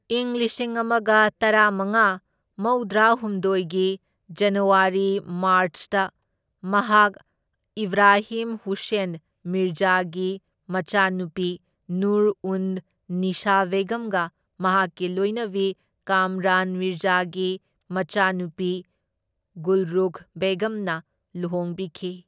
ꯏꯪ ꯂꯤꯁꯤꯡ ꯑꯃꯒ ꯇꯔꯥꯃꯉꯥ ꯃꯧꯗ꯭ꯔꯥꯍꯨꯝꯗꯣꯢꯒꯤ ꯖꯅꯋꯥꯔꯤ ꯃꯥꯔꯆꯇ ꯃꯍꯥꯛ ꯏꯕ꯭ꯔꯥꯍꯤꯝ ꯍꯨꯁꯦꯟ ꯃꯤꯔꯖꯥꯒꯤ ꯃꯆꯥꯅꯨꯄꯤ ꯅꯨꯔ ꯎꯟ ꯅꯤꯁꯥ ꯕꯦꯒꯝꯒ ꯃꯍꯥꯛꯀꯤ ꯂꯣꯏꯅꯕꯤ ꯀꯥꯝꯔꯥꯟ ꯃꯤꯔꯖꯥꯒꯤ ꯃꯆꯥꯅꯨꯄꯤ ꯒꯨꯜꯔꯨꯈ ꯕꯦꯒꯝꯅ ꯂꯨꯍꯣꯡꯕꯤꯈꯤ꯫